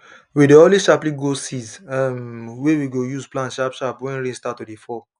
we dey always sharply grow seeds um wey we go use plant sharp sharp when rain start to dey fall